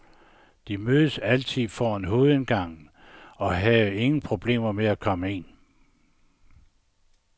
De mødtes altid foran hovedindgangen og havde ingen problemer med at komme ind.